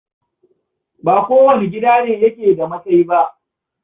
Ba kowane gida ne yake da masai ba.